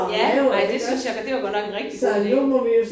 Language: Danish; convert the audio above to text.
Ja ej det synes jeg det var godt nok en rigtig god idé